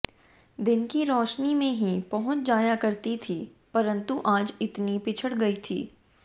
दिन की रोशनी में ही पहुंच जाया करती थी परंतु आज इतनी पिछड़ गई थी